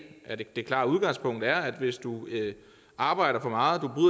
at det klare udgangspunkt er at hvis du arbejder for meget